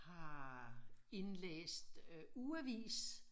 Har indlæst ugeavis